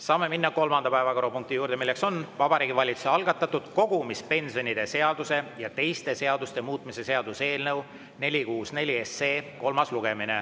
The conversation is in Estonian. Saame minna kolmanda päevakorrapunkti juurde, mis on Vabariigi Valitsuse algatatud kogumispensionide seaduse ja teiste seaduste muutmise seaduse eelnõu 464 kolmas lugemine.